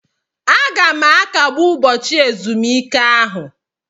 Aga m akagbu ụbọchị ezumike ahụ.